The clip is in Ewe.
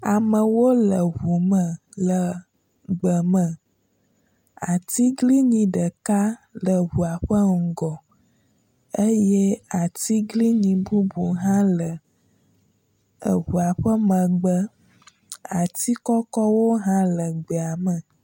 Amewo le ŋu me le gbeme. Atiglinyi ɖeka le ŋua ƒe gɔ eye atiglinyi bubuwo hã le eŋua ƒe megbe. Ati kɔkɔwo hã le gbea me.